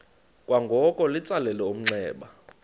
kwangoko litsalele umnxeba